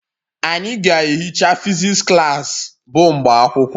Anyị ga-ehicha physics klas bụ mgbe akwụkwọ